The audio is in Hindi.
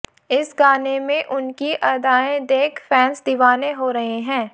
इस गाने में उनकी अदाएं देख फैंस दीवाने हो रहे हैं